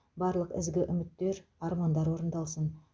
барлық ізгі үміттер мен армандар орындалсын